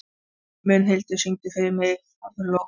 Mundhildur, syngdu fyrir mig „Háflóð“.